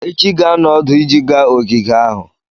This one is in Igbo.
Echi ga-anọ ọdụ iji gaa ogige ahụ.